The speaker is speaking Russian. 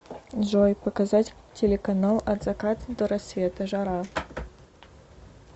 джой показать телеканал от заката до рассвета жара